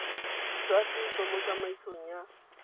jwa setso mo tsamaisong ya